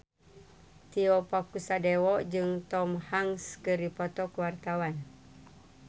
Tio Pakusadewo jeung Tom Hanks keur dipoto ku wartawan